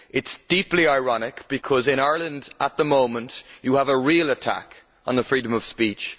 This is deeply ironic, because in Ireland at the moment you have a real attack on the freedom of speech.